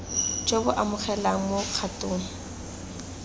jo bo amogelegang mo kgatong